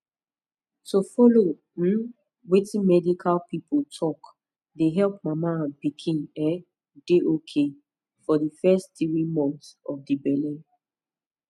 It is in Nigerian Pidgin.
to follow um wetin medical pipo talk dey epp mama and pikin um dey ok for di fess tiri monts of di belle